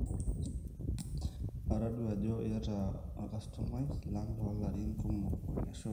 atodua ajo itaa olkastomai lang loo larin kumok, ashe oleng